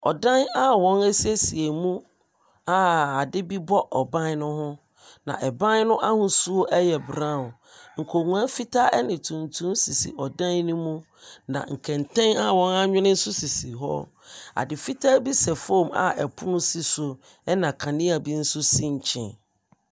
Ɔdan a wɔn ɛsiesie mu a ade bi bɔ ɛban no ho na ɛban no ahosuo ɛyɛ brown. Nkonwa fitaa ɛne tuntum sisi ɔdan no mu. Na nkɛntɛn a wɔn awene nso sisi hɔ. Ade fitaa bi sɛ fam a ɔpono si so ɛna kanea bi nso si nkyɛn.